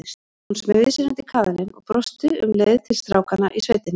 Hún smeygði sér undir kaðalinn og brosti um leið til strákanna í sveitinni.